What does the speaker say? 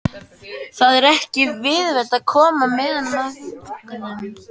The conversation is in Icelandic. Það er ekki viðlit að koma meðulum ofan í drenginn.